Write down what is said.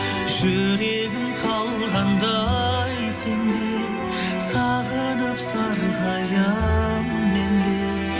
жүрегім қалғандай сен деп сағынып сарғаямын мен де